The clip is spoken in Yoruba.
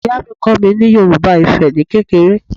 Ìyá mi kọ́ mi ní Yorùbá Ifẹ̀ ni kékeré